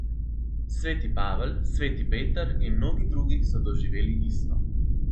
Sveti Pavel, sveti Peter in mnogi drugi so doživeli isto.